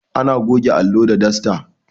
Ana goge allo da dasta